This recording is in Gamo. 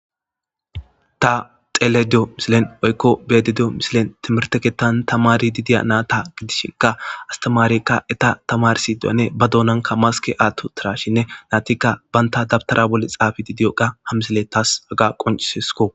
ta xeelediyo misilen oykko bedediyo misilen timirteketan tamari didiya naata gidishekka astimaarekka eta tamarsi diyane ba doonanka maske aatto tirashinne naatikka banta dabtara bole xaafi didiyoqa hamsile taas aga qoncisesko